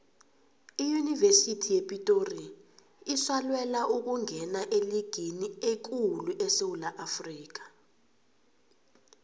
iyunivesithi yepitori isalwela ukungena eligini ekulu esewula afrikha